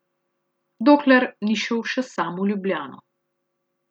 Dokler ni šel še sam v Ljubljano.